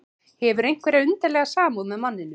Hefur einhverja undarlega samúð með manninum.